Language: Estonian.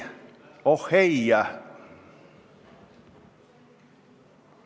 Oh ei!